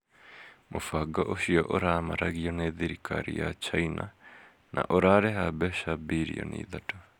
Mũbango ũcio, ũramaragio nĩ thirikari ya China na ũrarĩha mbeca birioni ithatũ.